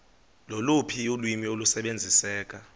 loluphi ulwimi olusebenziseka